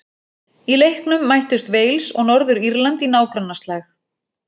Í leiknum mættust Wales og Norður-Írland í nágrannaslag.